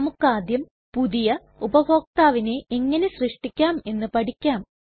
നമ്മുക്കാദ്യം പുതിയ ഉപഭോക്താവിനെ എങ്ങനെ സൃഷ്ടിക്കാം എന്ന് പഠിക്കാം